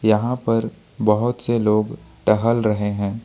यहां पर बहोत से लोग टहल रहे हैं।